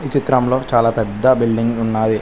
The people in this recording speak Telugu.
చిత్రంలో చాలా పెద్ద బిల్డింగులు ఉన్నాయి.